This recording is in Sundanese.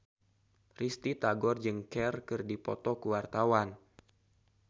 Risty Tagor jeung Cher keur dipoto ku wartawan